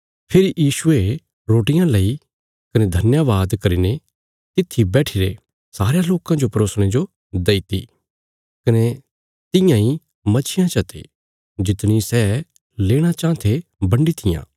फेरी यीशुये रोटियां लैई कने धन्यवाद करीने तित्थी बैठिरे सारयां लोकां जो परोसणे जो देईती कने तियां इ मच्छियां चते जितणी सै लेणा चाँह थे बन्डी तियां